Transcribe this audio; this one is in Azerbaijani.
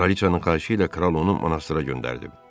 Kraliçanın xahişi ilə Kral onu monastra göndərib.